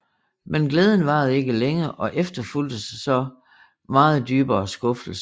Men glæden varede ikke længe og efterfulgtes af så meget dybere skuffelse